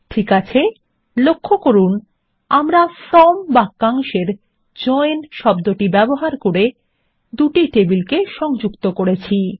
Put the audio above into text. ঠিক আছে লক্ষ্য করুন আমরা ফ্রম বাক্যাংশ এর জয়েন শব্দ ব্যবহার করে দুটি টেবিলকে সংযুক্ত করেছি